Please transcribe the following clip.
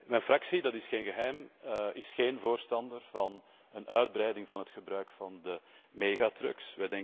Mijn fractie dat is geen geheim is geen voorstander van een uitbreiding van het gebruik van megatrucks.